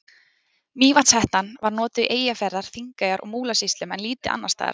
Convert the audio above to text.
Mývatnshettan var notuð í Eyjafjarðar-, Þingeyjar- og Múlasýslum en lítið annars staðar.